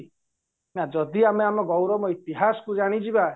ନା ଯଦି ଆମେ ଆମ ଗୌରବ ଇତିହାସକୁ ଜାଣିଯିବ